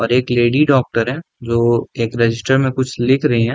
और एक lady doctor है जो एक रजिस्टर में कुछ लिख रही हैं।